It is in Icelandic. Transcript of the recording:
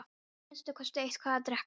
Að minnsta kosti eitthvað að drekka.